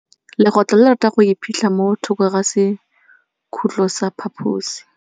Legôtlô le rata go iphitlha mo thokô ga sekhutlo sa phaposi.